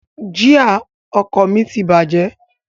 Jia ọkọ̀ mi ti bàjẹ́